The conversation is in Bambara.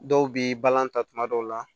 Dɔw bi balan ta tuma dɔw la